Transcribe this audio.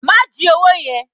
Ma ji owó yẹn.